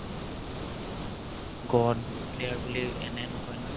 god player বুলি এনে নকই না